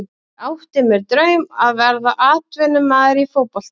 Ég átti mér draum að verða atvinnumaður í fótbolta.